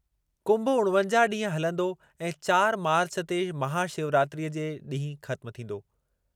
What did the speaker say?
कुंभ उणिवंजाहु ॾींहं हलंदो ऐं चारि मार्चु ते महाशिवरात्रीअ जे ॾींहुं ख़त्म थींदो।